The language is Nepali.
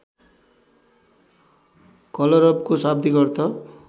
कलरबको शाब्दिक अर्थ